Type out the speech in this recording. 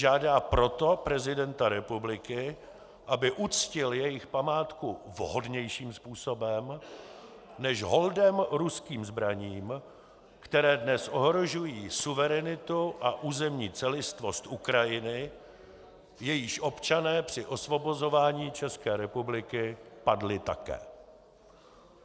Žádá proto prezidenta republiky, aby uctil jejich památku vhodnějším způsobem než holdem ruským zbraním, které dnes ohrožují suverenitu a územní celistvost Ukrajiny, jejíž občané při osvobozování České republiky padli také.